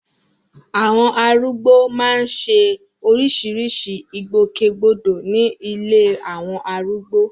Àwọn arúgbó máa ń ṣe oríṣiríṣi ìgbòkègbodò ní ilé àwọn arúgbó